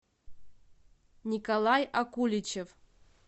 николай акуличев